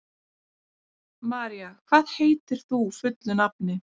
María, hvað heitir þú fullu nafni?